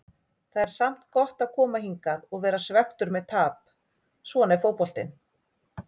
Það er samt gott að koma hingað og vera svekktur með tap, svona er fótboltinn.